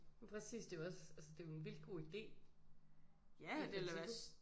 Præcis det er jo også altså det er en vildt godt idé i princippet